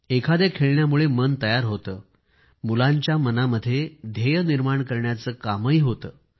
एखाद्या खेळण्यामुळे मन तयार होते मुलांच्या मनामध्ये ध्येय निर्माण करण्याचे कामही होते